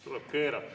Tuleb keerata.